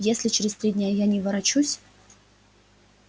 если через три дня я не ворочусь